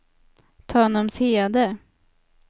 Tanumshede